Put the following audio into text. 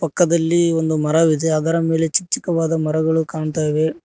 ಪಕ್ಕದಲ್ಲಿ ಒಂದು ಮರವಿದೆ ಅದರ ಮೇಲೆ ಚಿಕ್ ಚಕ್ಕವಾದ ಮರಗಳು ಕಾಣ್ತಾ ಇವೆ.